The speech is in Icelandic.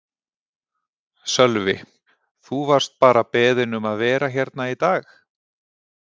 Sölvi: Þú varst bara beðinn um að vera hérna í dag?